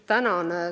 Tänan!